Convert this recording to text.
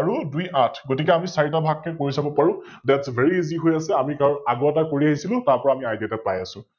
আৰু দুই আঠ, গতিকে আমি চাৰিটা ভাগ কৈ কৰি চাৱ পাৰো, ThatsVeryEasy হৈ আছে আমি কাৰন আগৰ পৰাই কৰি আহিছিলো তাৰ পৰা আমি Idea এটা পাই আছো ।